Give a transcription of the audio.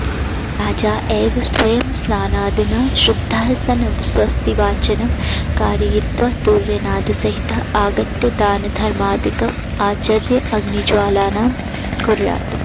राजा एव स्वयं स्नानादिना शुद्धः सन् स्वस्तिवाचनं कारयित्वा तूर्यनादसहितः आगत्य दानधर्मादिकम् आचर्य अग्निज्वालनं कुर्यात्